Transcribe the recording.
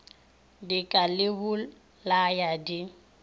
di ka le bolaya di